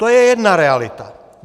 To je jedna realita.